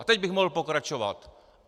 A teď bych mohl pokračovat.